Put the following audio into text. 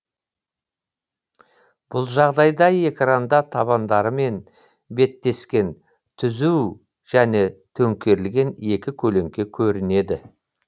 бүл жағдайда экранда табандарымен беттескен түзу және төңкерілген екі көлеңке көрінеді